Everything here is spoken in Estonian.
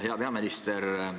Hea peaminister!